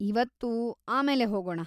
ಇವತ್ತು ಆಮೇಲೆ ಹೋಗೋಣ.